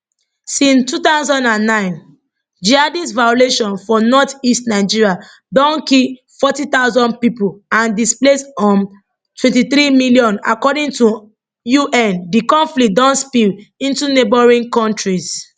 since 2009 jihadist violence for northeast nigeria don kill 40000 pipo and displace um 23 million according to un di conflict don spill into neighbouring kontris